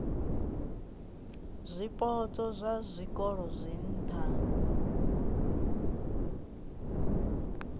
zwipotso zwa zwikolo zwa nha